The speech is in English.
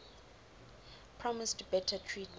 promised better treatment